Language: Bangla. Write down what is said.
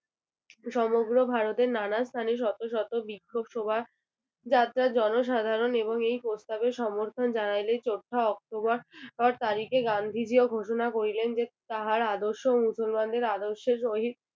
সমগ্র ভারতে নানা স্থানে শত শত বিক্ষোভ শোভা যাত্রা জনসাধারণ এবং এই প্রস্তাবে সমর্থন জানাইলে চৌঠা অক্টোবর তারিখে গান্ধীজি ও ঘোষণা করিলেন যে তাহার আদর্শে মুসলমানদের আদর্শ সহিত